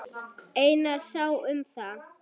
Einar sá um það.